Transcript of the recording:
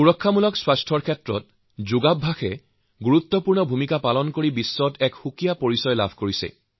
preventive health care হিচাপে যোগ চৰ্চাই বিশ্বত নতুনকৈ নিজৰ এটা চিনাকী বহন কৰিছে